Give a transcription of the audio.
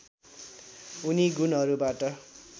उनी गुणहरू बाट